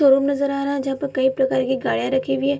Showroom नजर आ रहा है जहाँ पर कई प्रकार के गाड़ियाँ रखी हुई हैं।